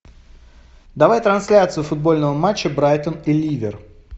давай трансляцию футбольного матча брайтон и ливер